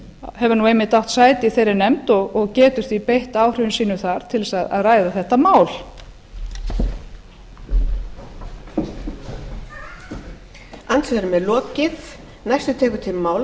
hefur nú einmitt átt sæti í þeirri nefnd og getur því beitt áhrifum sínum þar til að ræða þetta mál